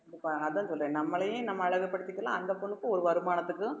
இப்ப அதான் சொல்றேன் நம்மளையே நம்ம அழகுபடுத்திக்கலாம் அந்த பொண்ணுக்கும் ஒரு வருமானத்துக்கும்